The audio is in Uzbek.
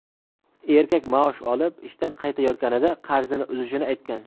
Erkak maosh olib, ishdan qaytayotganida qarzini uzishini aytgan.